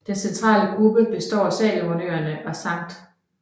Den centrale gruppe består af Salomonøerne og St